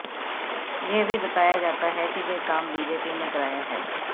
यह भी बताया जाता है कि यह काम बीजेपी ने कराया है